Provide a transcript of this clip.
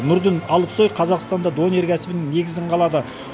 нұрдын алпсой қазақстанда донер кәсібінің негізін қалады